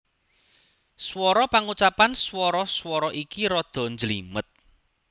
Swara Pangucapan swara swara iki rada njlimet